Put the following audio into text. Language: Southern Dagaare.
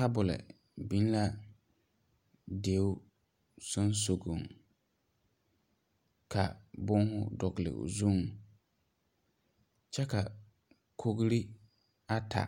Tabol bing la deɛ sunsogun ka buma dɔgli ɔ zung kye ka kogri ata